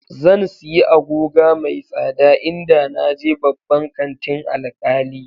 Zan siyi agoga mai tsada in da naje babban kantin Alkali